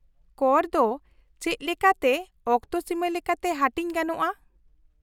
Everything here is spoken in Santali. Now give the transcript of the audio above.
-ᱠᱚᱨ ᱫᱚ ᱪᱮᱫᱞᱮᱠᱟᱛᱮ ᱚᱠᱛᱚᱥᱤᱢᱟᱹ ᱞᱮᱠᱟᱛᱮ ᱦᱟᱹᱴᱤᱧ ᱜᱟᱱᱚᱜᱼᱟ ?